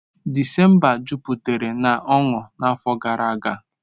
December jupụtara na ọṅụ n'afọ gara aga.